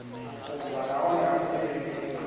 vhukuma nahone a lu tevhelelei